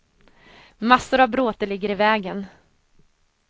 Massor av bråte ligger i vägen.